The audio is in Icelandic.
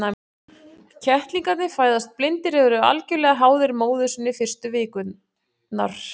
Kettlingarnir fæðast blindir og eru algjörlega háðir móður sinni fyrstu vikurnar.